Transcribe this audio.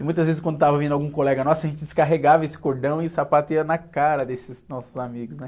E muitas vezes quando estava vindo algum colega nosso, a gente descarregava esse cordão e o sapato ia na cara desses nossos amigos, né?